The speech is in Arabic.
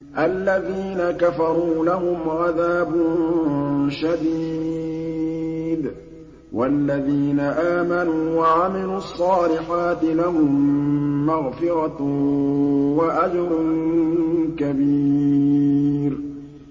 الَّذِينَ كَفَرُوا لَهُمْ عَذَابٌ شَدِيدٌ ۖ وَالَّذِينَ آمَنُوا وَعَمِلُوا الصَّالِحَاتِ لَهُم مَّغْفِرَةٌ وَأَجْرٌ كَبِيرٌ